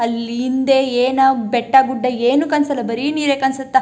ಅಲ್ಲಿ ಹಿಂದೇ ಏನೋ- ಬೆಟ್ಟಗುಡ್ಡ ಏನೂ ಕಾಣ್ಸಲ್ಲ ಬರೀ ನೀರೇ ಕಾಣ್ಸುತ್ತ --